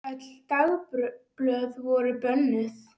Öll dagblöð voru bönnuð.